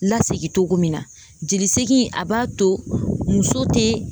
Lasegin cogo min na jolisegin a b'a to muso tɛ